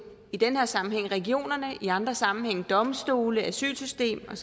i den her sammenhæng regionerne i andre sammenhænge domstolene asylsystemet